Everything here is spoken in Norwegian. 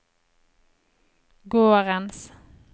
gårdens